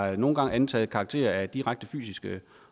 har nogle gange antaget karakter af direkte fysiske